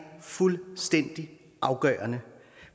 fuldstændig afgørende